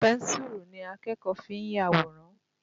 Pẹ́ńsùrù ni akẹ́kọ̀ọ́ fi ń yàwòrán.